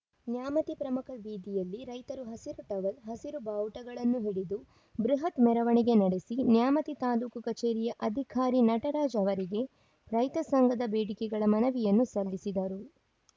ನ್ಯಾಮತಿ ಪ್ರಮುಖ ಬೀದಿಯಲ್ಲಿ ರೈತರು ಹಸಿರು ಟವಲ್‌ ಹಸಿರು ಬಾವುಟಗಳನ್ನು ಹಿಡಿದು ಬೃಹತ್‌ ಮೆರವಣಿಗೆ ನಡೆಸಿ ನ್ಯಾಮತಿ ತಾಲೂಕು ಕಚೇರಿಯ ಅಧಿಕಾರಿ ನಟರಾಜ್‌ ಅವರಿಗೆ ರೈತ ಸಂಘದ ಬೇಡಿಕೆಗಳ ಮನವಿಯನ್ನು ಸಲ್ಲಿಸಿದರು